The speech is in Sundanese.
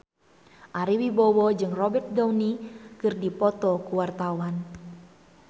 Ari Wibowo jeung Robert Downey keur dipoto ku wartawan